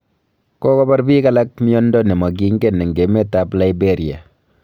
Kokobar biik alak myondo ne mangingen eng' emet ab liberia